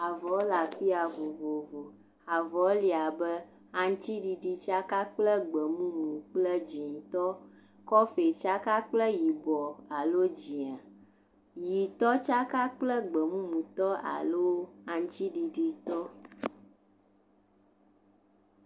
Avɔwo le afi ya vovovo, avɔwo li abe aŋutiɖiɖi tsaka kple gbe mumutɔ kple dzɛ̃tɔ, kɔfii tsaka kple yibɔ alo dzɛ̃a, ʋɛ̃tɔ tsaka kple gbe mumutɔ alo aŋutiɖiɖitɔ.